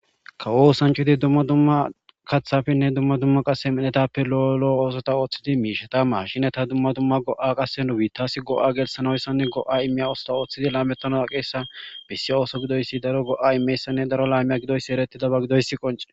kawosancudi dumma dumma kathafenne dumma dumma qase midnetappe lo7olo oosota ooththidi miishe ta ma shineta dumma dumma go7a qasse nubi taasi go7a gelsanoyssanne go7a immiya oosota ooththidi laamettanoa qeessa bessi ooso gidoyssi daro go7a imeyssanne daro laamiya gidoyssi eretidaba gidoyssi qoncede